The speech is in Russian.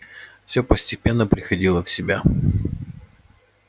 всё постепенно приходила в себя